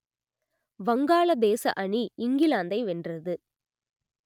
வங்காளதேச அணி இங்கிலாந்தை வென்றது